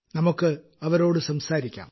നമുക്ക് അവരോട് സംസാരിക്കാം